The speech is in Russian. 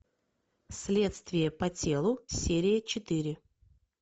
следствие по телу серия четыре